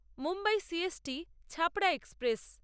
Mumbai C S T Chhapra express